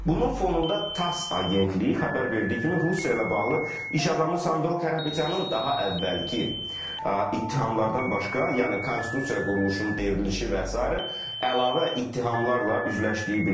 Bunun fonunda TASS agentliyi xəbər verdiyi kimi Rusiya ilə bağlı iş adamı Samvel Karapetyanın daha əvvəlki ittihamlardan başqa, yəni konstitusiya quruluşunun devrilişi və sairə əlavə ittihamlarla üzləşdiyi bildirilir.